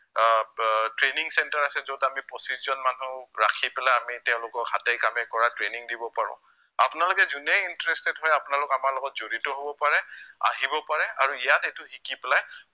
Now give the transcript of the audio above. আহ আহ training center আছে যত আমি পঁচিছজন মানুহ ৰাখি পেলাই আমি তেওঁলোকক হাতে কামে কৰা training দিব পাৰো আপোনালোকে যোনেই interested হয় আপোনালোক আমাৰ লগত জড়িত হব পাৰে, আহিব পাৰে আৰু ইয়াত এইটো শিকি পেলাই